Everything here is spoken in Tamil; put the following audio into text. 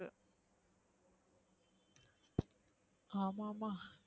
ஆமா மா